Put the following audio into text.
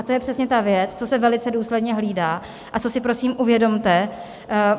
A to je přesně ta věc, co se velice důsledně hlídá a co si prosím uvědomte.